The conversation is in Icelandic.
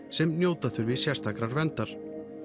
sem njóta þurfi sérstakrar verndar